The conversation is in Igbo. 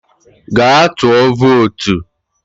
Gaa tụọ vootu!